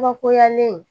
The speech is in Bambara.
Bakoyalen